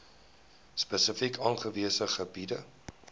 spesifiek aangewese gebiede